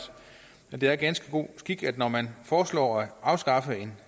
det er ganske god skik at når man i foreslår at afskaffe en